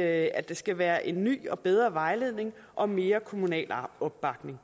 at der skal være en ny og bedre vejledning og mere kommunal opbakning